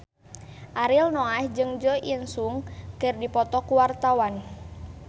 Ariel Noah jeung Jo In Sung keur dipoto ku wartawan